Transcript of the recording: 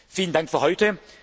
Vielen Dank für